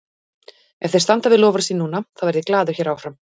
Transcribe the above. Ef þeir standa við loforð sín núna, þá verð ég glaður hér áfram.